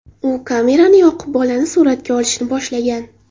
U kamerani yoqib, bolani suratga olishni boshlagan.